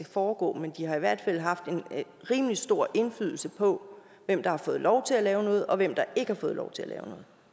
foregå men de har i hvert fald haft en rimelig stor indflydelse på hvem der har fået lov til at lave noget og hvem der ikke har fået lov til at lave